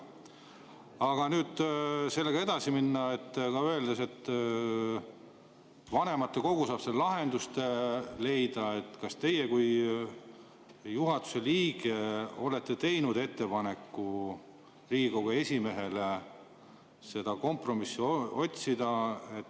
Aga kui nüüd sellega edasi minna, ka öeldes, et vanematekogu saab lahenduse leida, siis kas teie kui juhatuse liige olete teinud ettepaneku Riigikogu esimehele kompromissi otsida?